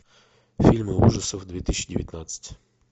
фильмы ужасов две тысячи девятнадцать